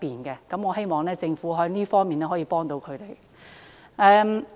就這方面，我希望政府可以協助他們。